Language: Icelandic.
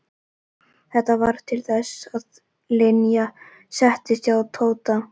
Þetta varð til þess að Linja settist að hjá Tóta.